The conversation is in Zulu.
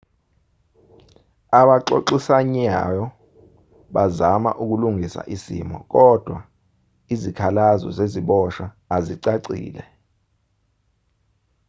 abaxoxisanyao bazama ukulungisa isimo kodwa izikhalazo zeziboshwa azicacile